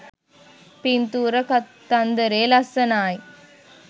පින්තූර කතන්දරේ ලස්සනායි